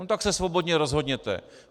No tak se svobodně rozhodněte."